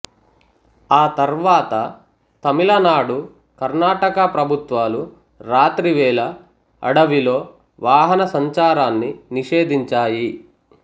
ఆ తర్వాత తమిళనాడు కర్ణాటక ప్రభుత్వాలు రాత్రి వేళ అడవిలో వాహన సంచారాన్ని నిషేధించాయి